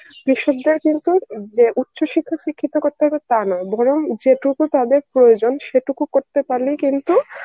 কৃষকদের কিন্তু যে উচ্চশিক্ষায় শিক্ষিত করতে হবে তা নয় বরং যেটুকু তাদের প্রয়োজন সেটুকু করতে পারলেই কিন্তু